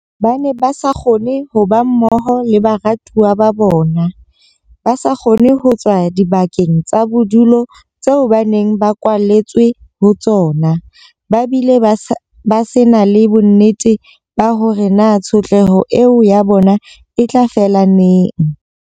Ba ne ba sa kgone ho ba mmoho le baratuwa ba bona, ba sa kgone ho tswa dibakeng tsa bodulo tseo ba neng ba kwaletswe ho tsona, ba bile ba se na le bonnete ba hore na tshotleho eo ya bona e tla fela neng.